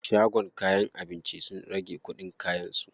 Shagon kayan abinci sun rage kuɗin kayan su.